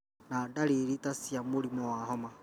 na dariri ta cia mũrimũ wa homa.